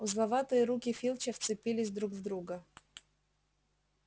узловатые руки филча вцепились друг в друга